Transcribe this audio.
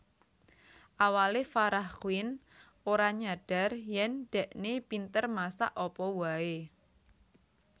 Awale Farah Quinn ora nyadar yen dhekne pinter masak apa wae